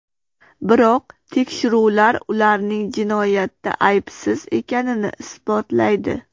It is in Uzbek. Biroq tekshiruvlar ularning jinoyatda aybsiz ekanini isbotlaydi.